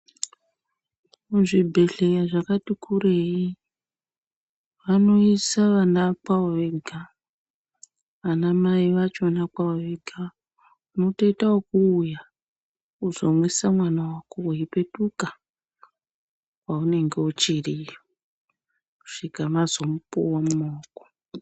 Muzvibhedhleya zvakati kurei vanoisa vana kwavo vega anamai vachona kwavo vega unotoite ekuuya kuzomwisa mwana wako weipetuka paunenge uchiri kusvika mazomupuwa mumaoko.